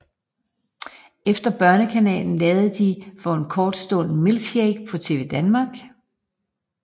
Efter Børnekanalen lavede de for en kort stund Milkshake på TvDanmark